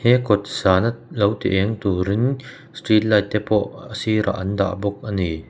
he kawtsana lo ti eng turin street light tepawh a sirah an dah bawk a ni.